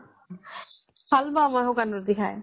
ভাল পাওঁ মই শুকান ৰুটি খাই